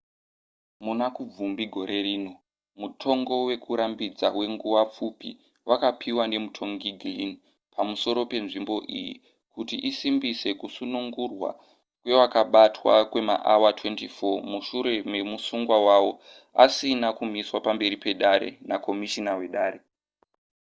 muna kubvumbi gore rino mutongo wekurambidza wenguva pfupi wakapihwa nemutongi glynn pamusoro penzvimbo iyi kuti isimbise kusunungurwa kwevakabatwa kwemaawa 24 mushure memusungwa wavo asina kumiswa pamberi pedare nakomishina wedare